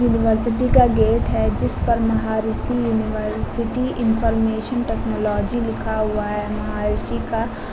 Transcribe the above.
University का gate है जिस पर महर्षि यूनिवर्सिटी इनफॉरमेशन टेक्नोलॉजी लिखा हुआ है। महर्षि का --